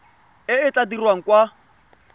e e tla dirwang kwa